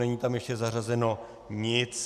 Není tam ještě zařazeno nic.